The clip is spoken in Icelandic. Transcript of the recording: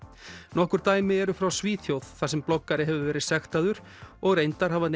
nokkur dæmi eru frá Svíþjóð þar sem bloggari hefur verið sektaður og reyndar hafa